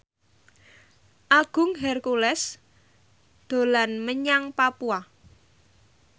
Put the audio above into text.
Agung Hercules dolan menyang Papua